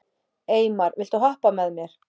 Eymar, viltu hoppa með mér?